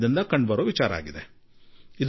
ಹೀಗೆಂದು ನಾನು ಪ್ರಾರಂಭಿಕ ಅನಿಸಿಕೆ ವ್ಯಕ್ತಪಡಿಸುವೆ